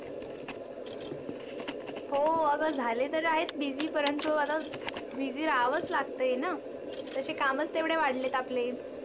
हो आता झाले तर आहे, busy परंतु आता busy राव्हाच लागतेना? तसे कामच वाढले आपले.